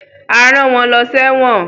A rán wọn lọ sẹ́wọ̀n